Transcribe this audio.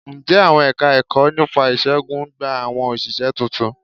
Ǹjẹ́ àwọn Ẹ̀ka-ẹ̀kọ́ nípa ìṣègùn ń gba àwọn òṣìṣẹ́ tuntun?